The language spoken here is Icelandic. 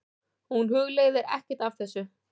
Hún hugleiðir ekkert af þessu.